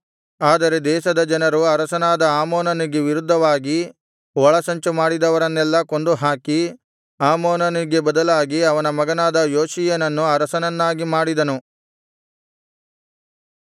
ಆದರೆ ದೇಶದ ಜನರು ಅರಸನಾದ ಆಮೋನನಿಗೆ ವಿರುದ್ಧವಾಗಿ ಒಳಸಂಚು ಮಾಡಿದವರನ್ನೆಲ್ಲಾ ಕೊಂದುಹಾಕಿ ಆಮೋನನಿಗೆ ಬದಲಾಗಿ ಅವನ ಮಗನಾದ ಯೋಷೀಯನನ್ನು ಅರಸನನ್ನಾಗಿ ಮಾಡಿದರು